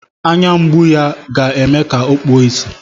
Anya mgbu ya ọ ga-eme ka o kpuo ìsì.